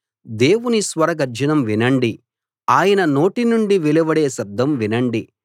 దేవుని స్వర గర్జనం వినండి ఆయన నోటి నుండి వెలువడే శబ్దం వినండి